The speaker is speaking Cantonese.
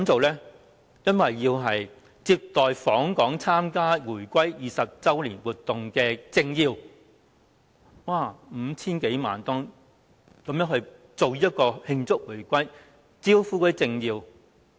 原因是要接待參加回歸20周年慶祝活動的訪港政要，花費共 5,000 多萬元，就是要慶祝回歸、招呼政要。